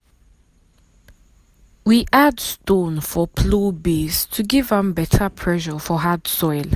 we add stone for plow base to give am better pressure for hard soil.